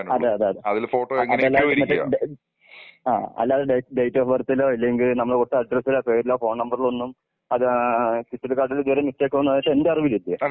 അതല്ലാതെ ഇരുന്നിട്ട് ആ അല്ലാതെ ഡേറ്റ് ഓഫ് ബർത്ത് ലോ അല്ലെങ്കിൽ നമ്മൾ കൊടുത്ത അഡ്രസ്സിൽ പേരിലോ ഫോൺ നമ്പറിലോ ഒന്നും അത് ആ തിരിച്ചറിയൽ കാർഡില് ചെറിയ മിസ്റ്റേക്ക് വന്നതായിട്ട് എന്റെ അറിവിൽ ഇല്ല.